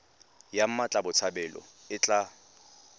ya mmatla botshabelo e tla